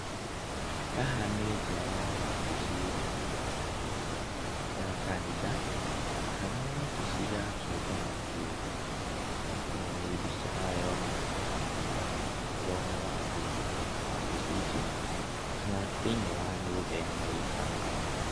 Haha nĩ nja wa wabici ya kanitha kana wabici ya kĩũngano kĩũmbe. Ĩno nĩ mbica haha ĩronania haha nĩho thome wa kũingĩra wabici ici kana thĩiniĩ wa nyũmba ĩno ĩ haha.